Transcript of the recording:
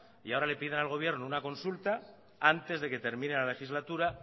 y ahora le piden al gobierno una consulta antes de que termine la legislatura